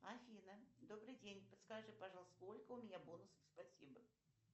афина добрый день подскажи пожалуйста сколько у меня бонусов спасибо